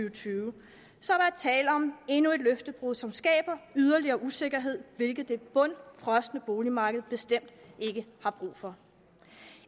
og tyve så der er tale om endnu et løftebrud som skaber yderligere usikkerhed hvilket det bundfrosne boligmarked bestemt ikke har brug for